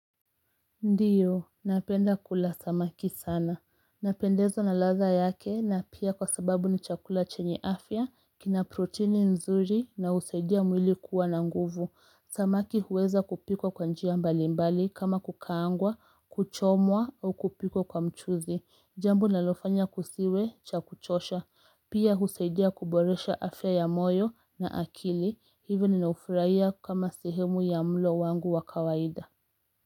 Ndiyo, napenda kula samaki sana. Napendezwa na ladha yake na pia kwa sababu ni chakula chenye afya, kina proteini nzuri na husaidia mwili kuwa na nguvu. Samaki huweza kupikwa kwa njia mbali mbali kama kukaangwa, kuchomwa au kupikwa kwa mchuzi. Jambo linalofanya kusiwe cha kuchosha. Pia husaidia kuboresha afya ya moyo na akili. Hivyo ninaufraia kama sehemu ya mlo wangu wa kawaida.